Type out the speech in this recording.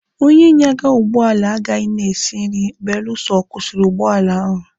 Onye nyaga ụgbọala agaghị na-esi nri beluso ọ kwụsịrị ụgbọala ahụ